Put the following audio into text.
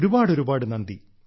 ഒരുപാട് ഒരുപാട് നന്ദി